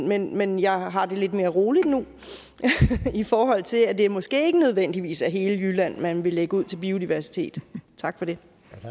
men men jeg har det lidt mere roligt nu i forhold til at det måske ikke nødvendigvis er hele jylland man vil lægge ud til biodiversitet tak for det